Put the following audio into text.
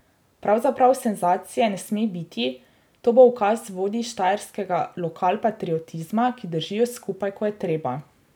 Pravzaprav senzacije ne sme biti, to bo ukaz vodij štajerskega lokalpatriotizma, ki držijo skupaj, ko je treba.